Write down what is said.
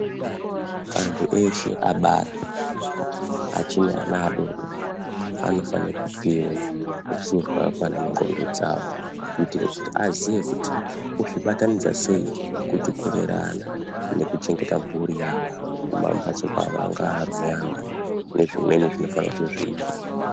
Antu eshe abara, achine ana adodori anofane kupiwe ruzivo rwakakwana mundxondo dzavo mkuitire kuti aziye kui ozvibatanidza sei kuti kurera ana nekuchengeta mhuri yawo kumamhatso kwawo, angaa arume awo, nezvimweni zvinofane kuti zviitwe.